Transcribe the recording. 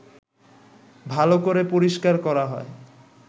ভালো করে পরিষ্কার করা হয়